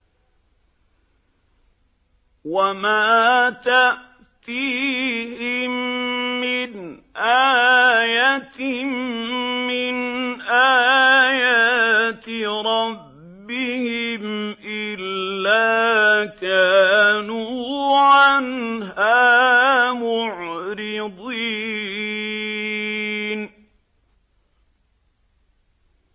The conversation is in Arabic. وَمَا تَأْتِيهِم مِّنْ آيَةٍ مِّنْ آيَاتِ رَبِّهِمْ إِلَّا كَانُوا عَنْهَا مُعْرِضِينَ